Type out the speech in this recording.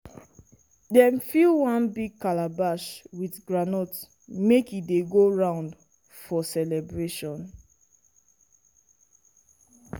dem fill one big calabash with groundnut make e dey go round for celebration.